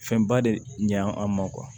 Fɛnba de ɲa an ma